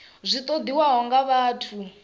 zwi zwi ṱoḓiwaho nga vhathu